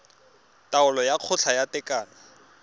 taolo ya kgotla ya tekano